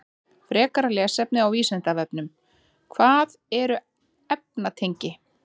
Frekara lesefni á Vísindavefnum: Hvað eru efnatengi?